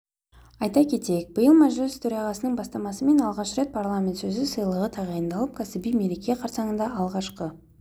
айта кетейік биыл мәжіліс төрағасының бастамасымен алғаш рет парламент сөзі сыйлығы тағайындалып кәсіби мереке қарсаңында алғашқы